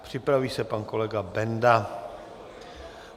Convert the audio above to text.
Připraví se pan kolega Benda.